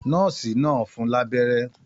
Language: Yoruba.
Nọ́ọ̀sì náà fún un lábẹ́rẹ́.